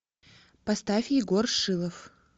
поставь егор шилов